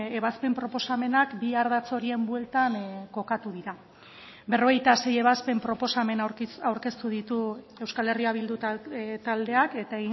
ebazpen proposamenak bi ardatz horien bueltan kokatu dira berrogeita sei ebazpen proposamen aurkeztu ditu euskal herria bildu taldeak eta